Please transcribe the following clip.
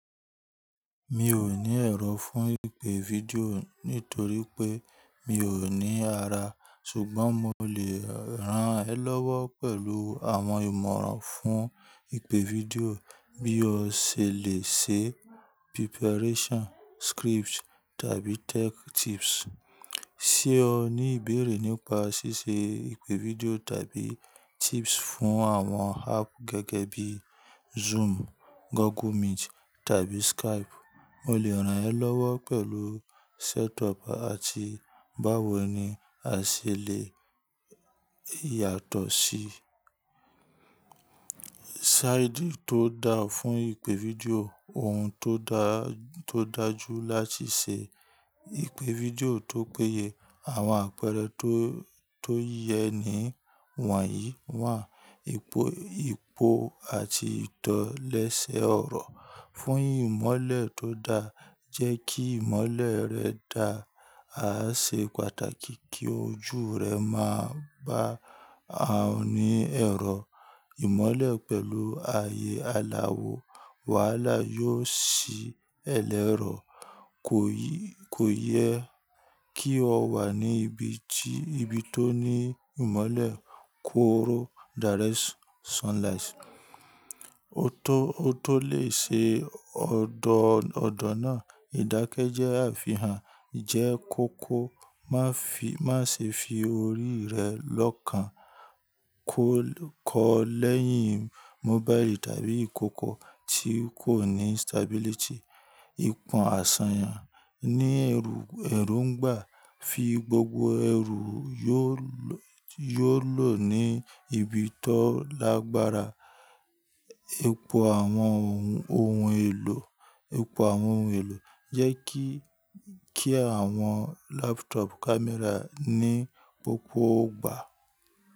Mi ò ní ẹ̀rọ fún ìpè fídíò nítorí pé mi ò ní ara, ṣùgbọ́n mo lè ran ẹ lọ́wọ́ pẹ̀lú àwọn ìmọ̀ràn fún ìpè fídíò bí o ṣe lè ṣe preparation, script tàbí tech tips. Ṣé o ní ìbéèrè nípa ṣíṣe ìpè fídíò tàbí tips fún àwọn app gẹ́gẹ́ bí Zoom, Google Meet tàbí Skype? Mo lè ran ẹ lọ́wọ́ pẹ̀lú setup àti báwo ni a ṣe lè yàtọ̀ sí side tó da fún ìpè fídíò. Ohun tó dá-- tó dájú láti ṣe ìpè fídíò tó péye. Àwọn àpẹẹrẹ tó, tó yẹ ní wọ̀nyí wà: ipò, ipò àti ìtò lẹ́sẹ̀ ọ̀rọ̀ fún ìmọ́lẹ̀ tó da. Jẹ́ kí ìmọ́lẹ̀ rẹ dá á ṣe pàtàkì kí ojú rẹ máa bá a oní ẹ̀rọ. Ìmọ́lẹ̀ pẹ̀lú aye aláwọ wàhálà yóò sí ẹ̀lẹ́rọ̀. Ko yi Kò yẹ kí o wà ní ibi tí, ibi tó ní ìmọ́lẹ̀ kóró direct sunlight. O to Ó tó lè ṣe ọ̀dọ̀, ọ̀dọ̀ náà, ìdákẹ́ jẹ́ àfihàn, jẹ́ kó kó ma fi má ṣe fi orí rẹ lọ́kàn kọ lẹ́yìn mobile tàbí ìkókó tí kò ní stability. Ipon àsàyàn ní ẹrù, ẹ̀rù ń gbà. Fi gbogbo ẹrù yóò lọ ní ibi tó lágbára. Epo àwọn ohun, ohun èlò, epo àwọn ohun èlò jẹ́ kí, kí àwọn laptop camera ní pópó gbà.